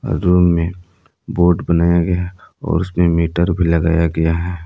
Room में board बनाया गया है और उसमें मीटर भी लगाया गया है।